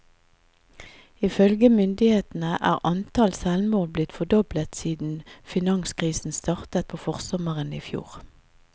Ifølge myndighetene er antallet selvmord blitt fordoblet siden finanskrisen startet på forsommeren i fjor.